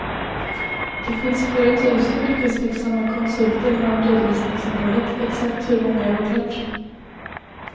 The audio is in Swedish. Det finns flera tusen yrkesverksamma konsulter inom redovisningsområdet, exakt hur många är oklart.